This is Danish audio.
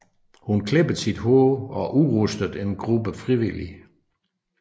Hun klippede sit hår og udrustede en gruppe frivillige